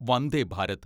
Vande Bharat